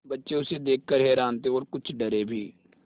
बच्चे उसे देख कर हैरान थे और कुछ डरे भी